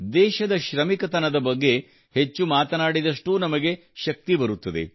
ದೇಶದ ಶ್ರಮಿಕತನದ ಬಗ್ಗೆ ಹೆಚ್ಚು ಮಾತನಾಡಿದಷ್ಟೂ ನಮಗೆ ಶಕ್ತಿ ಬರುತ್ತದೆ